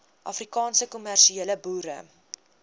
afrikaanse kommersiële boere